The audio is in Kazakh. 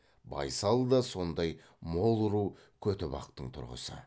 байсал да сондай мол ру көтібақтың тұрғысы